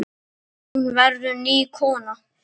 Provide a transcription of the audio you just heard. Hún verður ný kona.